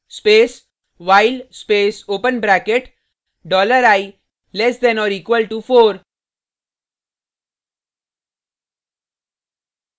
space while space open bracket dollar i less than or equal to four